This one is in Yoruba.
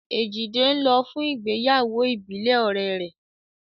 Èjìdé ń lọ fún ìgbéyàwó ìbílẹ̀ ọ̀rẹ́ rẹ̀